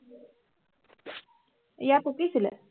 ইয়াৰ পকিছিলে